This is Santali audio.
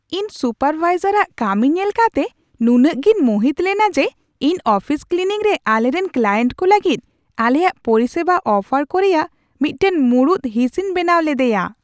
ᱤᱧ ᱥᱩᱯᱟᱨᱵᱷᱟᱭᱡᱟᱨᱟᱜ ᱠᱟᱹᱢᱤ ᱧᱮᱞ ᱠᱟᱛᱮ ᱱᱩᱱᱟᱹᱜ ᱜᱤᱧ ᱢᱩᱦᱤᱛ ᱞᱮᱱᱟ ᱡᱮ ᱤᱧ ᱚᱯᱷᱤᱥ ᱠᱞᱤᱱᱤᱝ ᱨᱮ ᱟᱞᱮᱨᱮᱱ ᱠᱠᱞᱟᱭᱮᱱᱴ ᱠᱚ ᱞᱟᱹᱜᱤᱫ ᱟᱞᱮᱭᱟᱜ ᱯᱚᱨᱤᱥᱮᱵᱟ ᱚᱯᱷᱟᱨ ᱠᱚ ᱨᱮᱭᱟᱜ ᱢᱤᱫᱴᱟᱝ ᱢᱩᱲᱩᱫ ᱦᱤᱸᱥᱤᱧ ᱵᱮᱱᱟᱣ ᱞᱮᱫᱮᱭᱟ ᱾